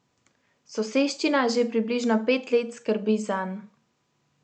Soseščina že približno pet let skrbi zanj.